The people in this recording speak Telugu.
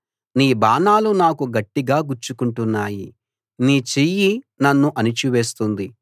నీ బాణాలు నాకు గట్టిగా గుచ్చుకుంటున్నాయి నీ చెయ్యి నన్ను అణచివేస్తుంది